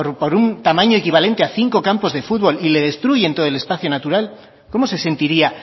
un tamaño equivalente a cinco campos de futbol y le destruyen todo el espacio natural cómo se sentiría